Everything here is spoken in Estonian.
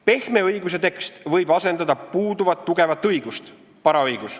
Pehme õiguse tekst võib asendada puuduvat tugevat õigust .